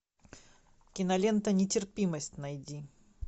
кинолента нетерпимость найди